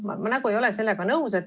Ma ei ole sellega nõus.